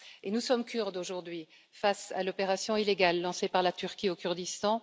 Nous sommes Kurdes, aujourd'hui, face à l'opération illégale lancée par la Turquie au Kurdistan.